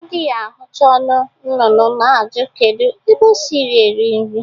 Adịghị ahụcha ọnụ nnụnnụ na-ajụ kedu ebe o si eri nri